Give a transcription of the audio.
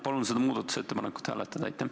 Palun seda muudatusettepanekut hääletada!